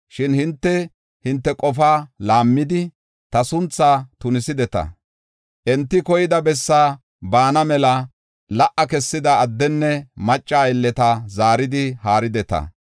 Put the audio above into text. Shin hinte, hinte qofaa laammidi, ta sunthaa tunisideta. Enti koyida bessaa baana mela la77a kessida addenne macca aylleta zaaridi haarideta.”